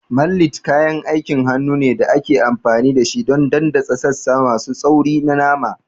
Mallet kayan aikin hannu ne da ake amfani da shi don daddatsa sassa masu tsauri na nama.